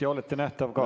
Ja olete nähtav ka.